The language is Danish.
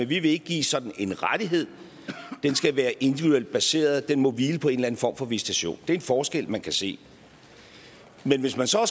vi vil ikke give sådan en rettighed det skal være individuelt baseret det må hvile på en eller anden form for visitation det er en forskel man kan se men hvis man så